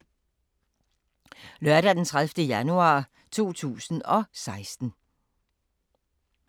Lørdag d. 30. januar 2016